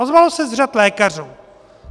Ozvalo se z řad lékařů.